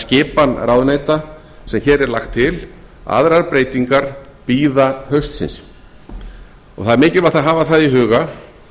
skipan ráðuneyta sem hér er lagt til aðrar breytingar bíða haustsins það er mikilvægt að hafa það í huga